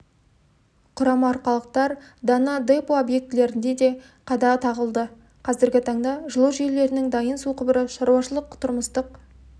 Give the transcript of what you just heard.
құрама арқалықтар дана депо объектілерінде қада қағылды қазіргі таңда жылу желілерінің дайын су құбыры шаруашылық-тұрмыстық